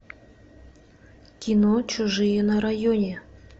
кино чужие на районе